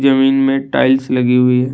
जमीन में टाइल्स लगी हुई है।